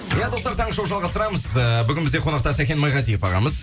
иә достар таңғы шоу жалғастырамыз ыыы бүгін бізде қонақта сәкен майғазиев ағамыз